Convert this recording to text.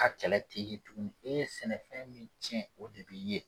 Ka kɛlɛ te u be sɛnɛfɛn min cɛn o tigi ye